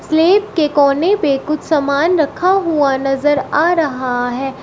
Slab के कोने पे कुछ सामान रखा हुआ नजर आ रहा है।